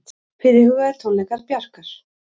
Fyrirhugaðir tónleikar Bjarkar